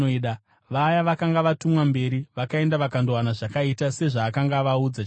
Vaya vakanga vatumwa mberi vakaenda vakandowana zvakaita sezvaakanga avaudza chaizvo.